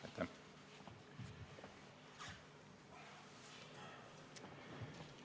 Aitäh!